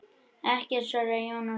Ekkert, svaraði Jón Ólafur.